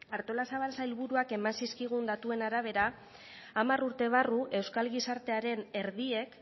artolazabal sailburuak eman zizkigun datuen arabera hamar urte barru euskal gizartearen erdiek